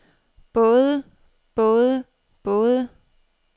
både både både